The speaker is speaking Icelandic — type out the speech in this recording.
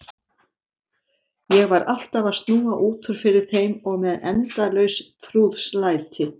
Ég var alltaf að snúa út úr fyrir þeim og með endalaus trúðslæti.